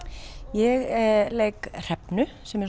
ég leik Hrefnu sem er